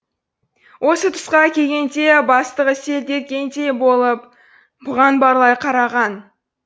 осы тұсқа келгенде бастығы селт еткендей болып бұған барлай қараған